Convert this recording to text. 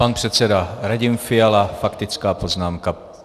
Pan předseda Radim Fiala faktická poznámka.